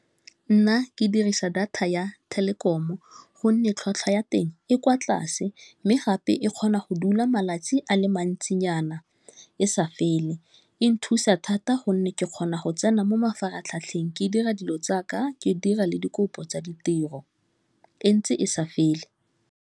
Nna ke dirisa data ya telekeramo gonne tlhwatlhwa ya teng e kwa tlase mme gape e kgona go dula malatsi a le mantsinyana e sa fele e nthusa thata gonne ke kgona go tsena mo mafaratlhatlheng ke dira dilo tsaka ke dira le dikopo tsa ditiro e ntse e sa fele.